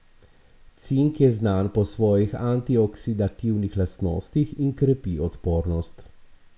Cink je znan po svojih antioksidativnih lastnostih in krepi odpornost.